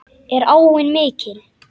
Er áin mikil?